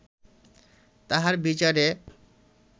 তাঁহার বিচারে